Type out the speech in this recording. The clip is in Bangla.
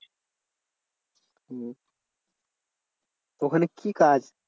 হম ওখানে কি কাজ?